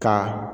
Ka